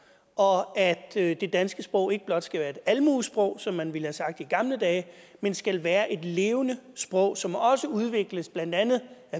og af at det danske sprog ikke blot skal være et almuesprog som man ville have sagt i gamle dage men skal være et levende sprog som også udvikles af blandt andet